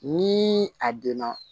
Ni a donna